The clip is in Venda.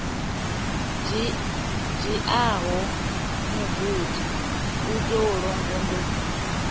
dziaho mugudi u tou longondo